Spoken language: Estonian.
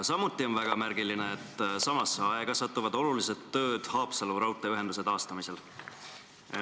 Samuti on väga märgiline, et samasse aega satuvad olulised tööd Haapsalu raudteeühenduse taastamisel.